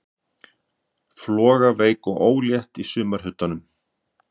Flogaveik og ólétt í sumarhitunum.